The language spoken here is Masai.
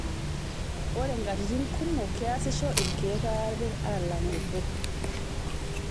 Ore nkatitin kumok, keasisho ilkeek aare alang' obo.